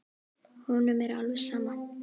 Honum er alveg sama.